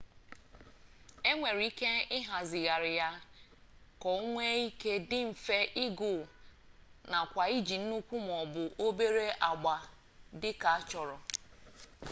e nwere ike ịhazigharị ya ka o nwee ike dị mfe ịgụ nakwa iji nnukwu ma ọ bụ obere agba dị ka achọrọ